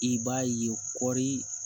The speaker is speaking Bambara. I b'a ye kɔri